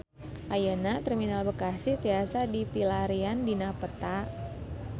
Ayeuna Terminal Bekasi tiasa dipilarian dina peta